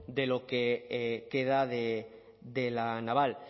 de lo que queda de la naval